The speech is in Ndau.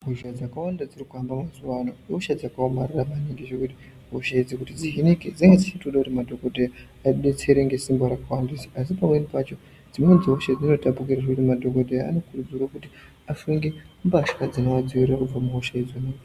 Hosha dzakawanda dzirihamba mazuano ihosha dzakaomarara maningi zvekuti hosha idzi dzihinike dzinenge dzichitoda kuti madhokodheya adetsere ngesimba rakawandisa asi pamweni pacho dzimweni hosha dzinotapukire zvekuti madhokodheya anokurudzirwa kuti asunge mbasa dzinovadzivirira kubva muhosha idzona idzi.